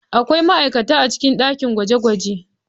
Akwai ma'aikata a cikin dakin gwaje-gwaje.